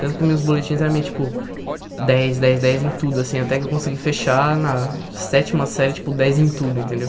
Tanto que meus boletins eram meio tipo dez, dez, dez em tudo, assim, até que eu consegui fechar na sétima série tipo dez em tudo, entendeu?